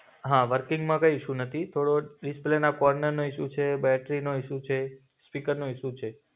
હા વર્કિંગમાં કઈ ઇશુ નથી. થોડો ડિસ્પ્લેના કોર્નરનો ઇશુ છે, બેટ્રીનો ઇશુ છે, સ્પીકરનો ઇશુ છે.